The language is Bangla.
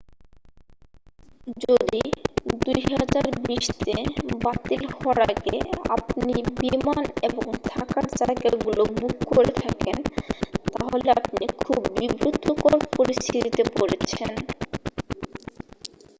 যদি 2020-তে বাতিল হওয়ার আগে আপনি বিমান এবং থাকার জায়গা বুক করে থাকেন তাহলে আপনি খুব বিব্রতকর পরিস্থিতিতে পড়েছেন